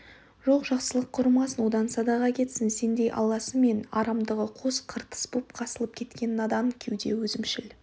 жоқ жақсылық құрымасын одан садаға кетсін сендей алласы мен арамдығы қос қыртыс боп қосылып кеткен надан кеуде өзімшіл